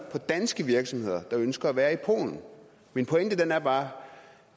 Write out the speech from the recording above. for danske virksomheder der ønsker at være i polen min pointe er bare